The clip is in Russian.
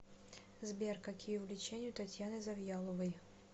сбер какие увлечения у татьяны завьяловой